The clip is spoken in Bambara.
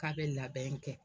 K'a bɛ labɛn kɛ